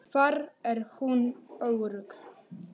Þar er hún örugg.